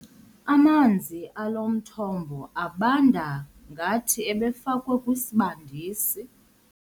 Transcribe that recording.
Amanzi alo mthombo abanda ngathi ebefakwe kwisibandisi.